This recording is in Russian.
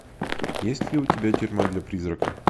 есть ли у тебя тюрьма для призрака